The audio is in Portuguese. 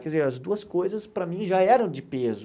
Quer dizer, as duas coisas, para mim, já eram de peso.